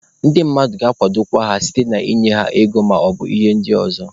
Ndị mmadụ ga-akwadokwa ha site na ịnye ha ego maọbụ ihe ndị ọzọ.